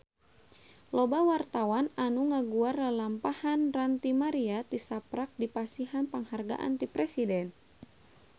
Loba wartawan anu ngaguar lalampahan Ranty Maria tisaprak dipasihan panghargaan ti Presiden